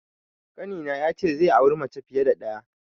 Ƙanina ya ce zai auri mace fiye da ɗaya.